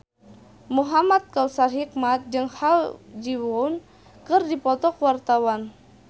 Muhamad Kautsar Hikmat jeung Ha Ji Won keur dipoto ku wartawan